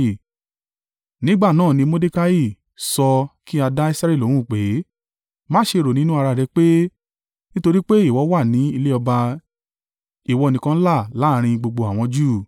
nígbà náà ni Mordekai sọ kí a dá Esteri lóhùn pé, “Má ṣe rò nínú ara rẹ pé nítorí pé ìwọ wà ní ilé ọba ìwọ nìkan là láàrín gbogbo àwọn Júù.